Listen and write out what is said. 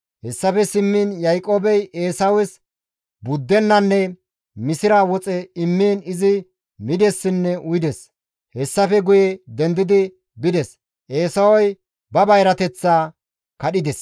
Hessafe simmiin Yaaqoobey Eesawes buddenanne misira woxe immiin izi midessinne uyides; hessafe guye dendidi bides; Eesawey ba bayrateththaa kadhides.